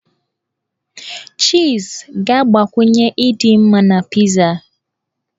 Chiiz ga-agbakwunye ịdị mma na pizaa.